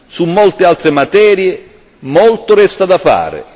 Su molte altre materie molto resta da fare.